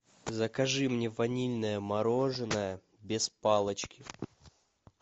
закажи мне ванильное мороженое без палочки